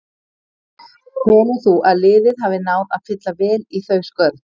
Telur þú að liðið hafi náð að fylla vel í þau skörð?